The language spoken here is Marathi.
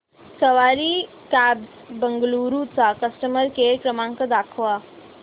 सवारी कॅब्झ बंगळुरू चा कस्टमर केअर क्रमांक दाखवा